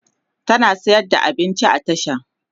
tana sayar da abinci a tasha